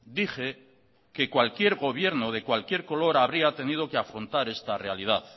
dije que cualquier gobierno de cualquier color habría tenido que afrontar esta realidad